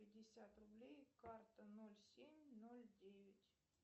пятьдесят рублей карта ноль семь ноль девять